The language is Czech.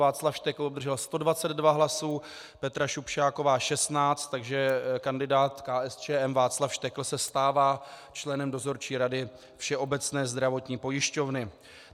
Václav Štekl obdržel 122 hlasů, Petra Šupšáková 16, takže kandidát KSČM Václav Štekl se stává členem Dozorčí rady Všeobecné zdravotní pojišťovny.